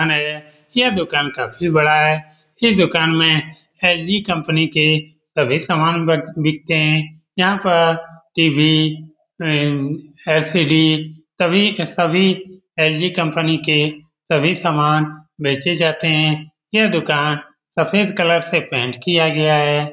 दुकान है यह दुकान काफी बड़ा है इस दुकान में एल.जी. कंपनी के सभी सामान बक-बिकते है यहाँ पर टी.वी. अम एल.सी.डी. सभी सभी एल.जी. कंपनी के सभी सामान बेचे जाते है यह दुकान सफेद कलर से पेंट किया गया है।